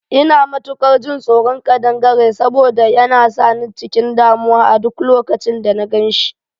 Ina matukar jin tsoron kadangare saboda yana sa ni cikin damuwa a duk lokacin da na gan shi